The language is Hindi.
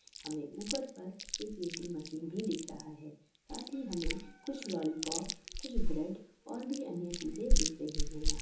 हमे ऊपर पर एक वेटिंग मशीन भी दिख रहा है। साथ ही हमे कुछ लॉलीपॉप कुछ ब्रेड और भी अन्य चीजे दिख रही है यहां।